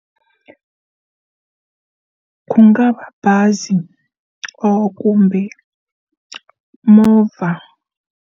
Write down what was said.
Ku nga va bazi ra kumbe movha.